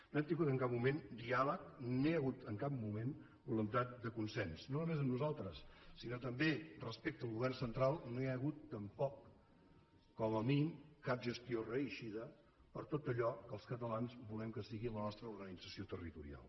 no hem tingut en cap moment diàleg no hi ha hagut en cap moment voluntat de consens no només amb nosaltres sinó que també respecte al govern central no hi ha hagut tampoc com a mínim cap gestió reeixida per tot allò que els catalans volem que sigui la nostra organització territorial